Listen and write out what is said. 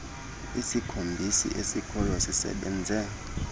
isikhombisi esikhoyo sisebenze